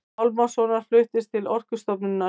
Pálmasonar fluttist til Orkustofnunar.